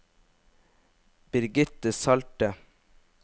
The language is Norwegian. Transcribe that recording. Birgitte Salte